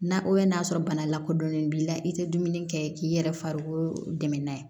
N'a o ye n'a sɔrɔ bana lakodɔnnen b'i la i tɛ dumuni kɛ k'i yɛrɛ farikolo dɛmɛ n'a ye